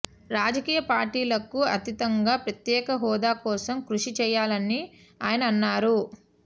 రాజకీయ పార్టీలకు అతీతంగా ప్రత్యేక హోదా కోసం కృషి చేయాలనీ ఆయన అన్నారు